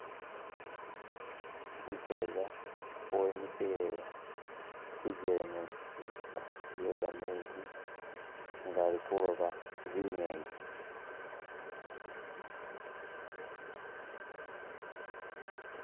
Umuseeza wemikile kujelemezi iye gameezi nga ali khulooba zi'ngeni.